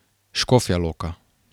Škofja Loka.